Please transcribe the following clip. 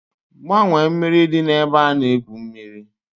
Gbanwee mmiri dị n'ebe a na-egwu mmiri!